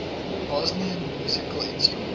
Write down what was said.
bosnian musical instruments